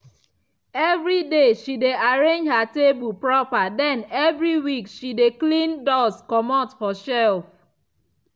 evri day she dey arrange her table proper den evri week she dey clean dust comot for shelf.